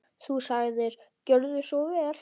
Þú sagðir: Gjörðu svo vel.